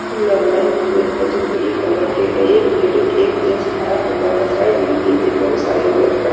जो लगाए हुए हैं जो हरी कलर के हैं एक लेडिज एक जेंट्स खड़ा हुआ है साइड में भी अ बहुत सारे लोग खड़--